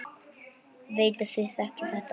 Veit þið þekkið þetta.